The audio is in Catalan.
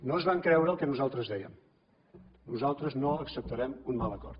no es van creure el que nosaltres dèiem nosaltres no acceptarem un mal acord